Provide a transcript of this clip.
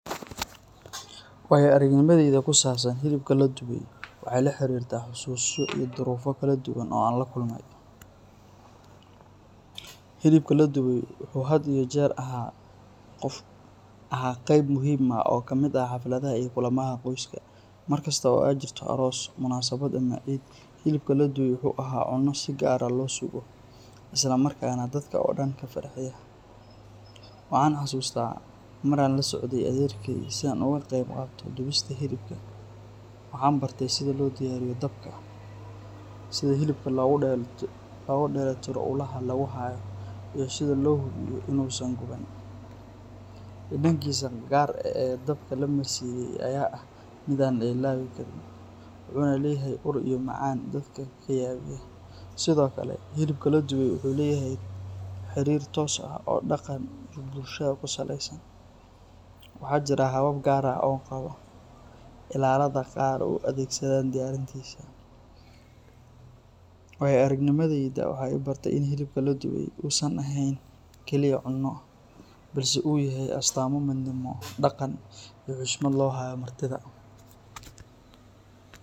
Waayo-aragnimadayda ku saabsan hilibka la dubay waxay la xiriirtaa xasuuso iyo duruufo kala duwan oo aan la kulmay. Hilibka la dubay wuxuu had iyo jeer ahaa qayb muhiim ah oo ka mid ah xafladaha iyo kulamada qoyska. Markasta oo ay jirto aroos, munaasabad ama ciid, hilibka la dubay wuxuu ahaa cunno si gaar ah loo sugo, islamarkaana dadka oo dhan ka farxiya. Waxaan xasuustaa mar aan la socday adeerkay si aan uga qayb qaato dubista hilibka, waxaan bartay sida loo diyaariyo dabka, sida hilibka loogu dheellitiro ulaha lagu hayo, iyo sida loo hubiyo inuusan guban. Dhadhankiisa gaar ah ee dabka la marsiiyey ayaa ah mid aan la ilaawi karin, wuxuuna leeyahay ur iyo macaan dadka ka yaabiya. Sidoo kale, hilibka la dubay wuxuu leeyahay xiriir toos ah oo dhaqan iyo bulsho ku saleysan, waxaana jira habab gaar ah oo qabaa’illada qaar u adeegsadaan diyaarintiisa. Waayo-aragnimadayda waxay i bartay in hilibka la dubay uusan ahayn kaliya cunno, balse uu yahay astaamo midnimo, dhaqan, iyo xushmad loo hayo martida.